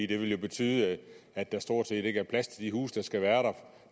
det vil betyde at der stort set ikke er plads til de huse der skal være